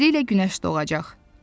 Tezliklə günəş doğacaq.